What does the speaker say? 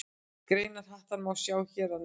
Grein Hattar má sjá hér að neðan.